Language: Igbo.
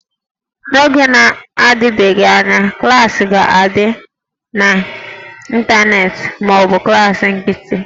N'oge na-adịbeghị anya, klaasị ga-adị n'ịntanetị ma ọ bụ klaasị nkịtị